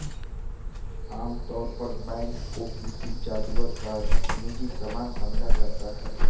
आमतौर पर वैंड को किसी जादूगर का निजी सामान समझा जाता है